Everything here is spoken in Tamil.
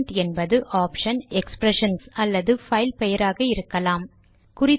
ஆர்குமென்ட் என்பது ஆப்ஷன் எக்ஸ்ப்ரெஷன்ஸ் அல்லது பைல் பெயராக இருக்கலாம்